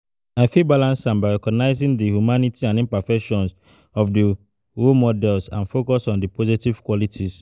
i fit balance am by recognizing di humanity and imperfections of di role model and focus on di positive qualities.